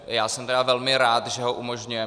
Já jsem tedy velmi rád, že ho umožňuje.